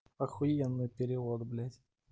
ахуенный перевод блять